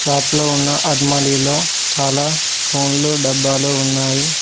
Shop లో ఉన్న అల్మరిలో చాలా ఫోన్లో డబ్బాలో ఉన్నాయి.